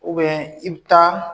i bɛ taa